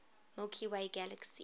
milky way galaxy